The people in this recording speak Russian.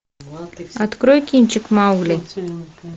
открой кинчик маугли